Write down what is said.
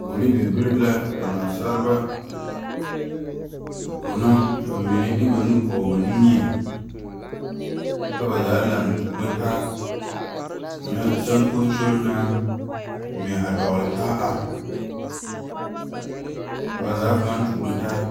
Koɔri be beri la ka naasaalba a kono ka bamine de ba nu poɔ ba niŋe kyɛ ka ba zaa lantuuro taa nyɛ soŋkosoro naŋ mɛ a dɔgle taa ka ba zaa paa tuuro taa.